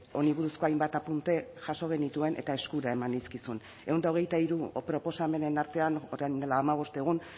honi buruzko hainbat apunte jaso genituen eta eskura eman nizkizun ehun eta hogeita hiru proposamenen artean orain dela hamabost egun